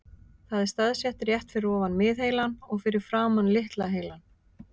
Það er staðsett rétt fyrir ofan miðheilann og fyrir framan litla heilann.